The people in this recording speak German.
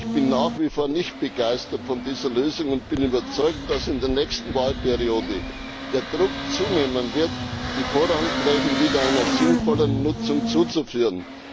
Ich bin nach wie vor nicht begeistert von dieser Lösung und bin überzeugt, dass in der nächsten Wahlperiode der Druck zunehmen wird, die Vorrangflächen wieder einer sinnvollen Nutzung zuzuführen.